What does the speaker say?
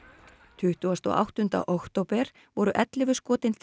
tuttugasta og áttunda október voru ellefu skotin til